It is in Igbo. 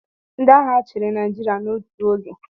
Ndị agha chịrị Naịjirịa n'otu oge.